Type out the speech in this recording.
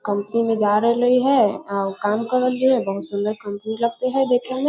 company में जा रहलिए ये आ उ काम कर रहलिये है बहुत सुन्दर कंपनी लगते है देखे मै